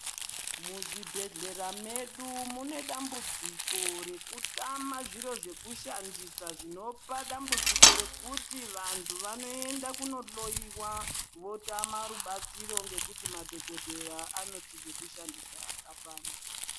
Muzvibhedhlera zvedu mune dambudziko rekutama zviro zvekushandisa zvinopa dambudziko rekuti vantu vanoenda kundohloiwa votama chiro nekuti madhokodheya anoti zvekushandisa apana.